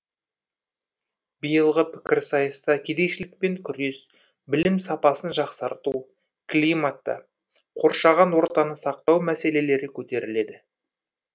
биылғы пікірсайыста кедейшілікпен күрес білім сапасын жақсарту климатты қоршаған ортаны сақтау мәселелері көтеріледі